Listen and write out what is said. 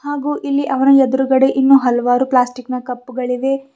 ಹಾಗೂ ಇಲ್ಲಿ ಅವರ ಎದ್ರುಗಡೆ ಇನ್ನು ಹಲವಾರು ಪ್ಲಾಸ್ಟಿಕ್ ನ ಕಪ್ಪುಗಳಿವೆ.